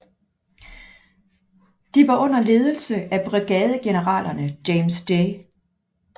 De var under ledelse af brigadegeneralerne James J